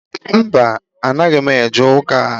Mba, anaghị m eje ụka